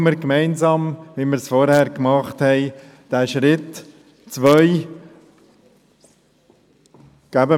Machen wir gemeinsam den zweiten Schritt, so wie wir vorhin den ersten Schritt gemacht haben.